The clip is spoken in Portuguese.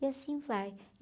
E assim vai.